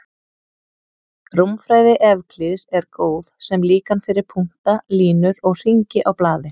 Rúmfræði Evklíðs er góð sem líkan fyrir punkta, línur og hringi á blaði.